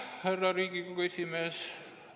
Härra Riigikogu esimees!